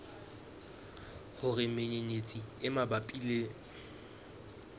hore menyenyetsi e mabapi le